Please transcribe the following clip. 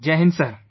Jai Hind Sir